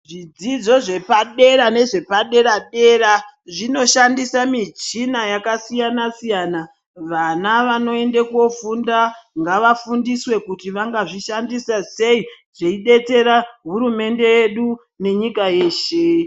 Zvidzidzo zvepadera nezvepadera-dera zvinoshandisa michina yakasiyana-siyana. Vana vanoenda kofunda ngavafundiswe kuti vangazvishandisa sei zveibetsera hurumende yedu yenyika yeshe.